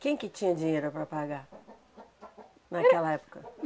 Quem que tinha dinheiro para pagar naquela época?